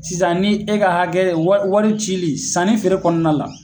Sisan ni e ka hakɛ wari cili sanni feere kɔnɔna la